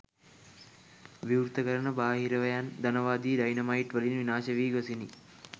විවෘත කරන බහිරවයන් ධනවාදී ඩයිනමයිට් වලින් විනාශ වී ගොසිනි